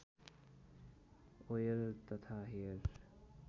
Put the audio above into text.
oil तथा hair